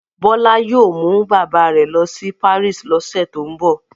Bọ́lá yóò mú bàbá rẹ̀ lọ sí Paris lọ́sẹ̀ tó ń bọ̀.